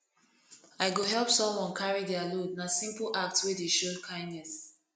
i go help someone carry dia load na simple act wey dey show kindness